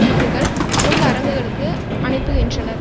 இவர்கள் முன்னரங்குகளுக்கு அனுப்புகின்றனர்